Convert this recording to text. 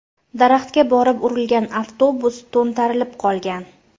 Daraxtga borib urilgan avtobus to‘ntarilib qolgan.